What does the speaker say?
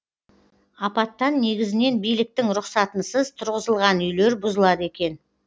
апаттан негізінен биліктің рұқсатынсыз тұрғызылған үйлер бұзылады екен